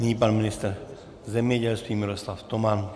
Nyní pan ministr zemědělství Miroslav Toman.